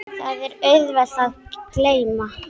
Það er auðvelt að gleyma.